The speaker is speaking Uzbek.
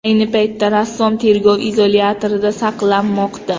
Ayni paytda rassom tergov izolyatorida saqlanmoqda.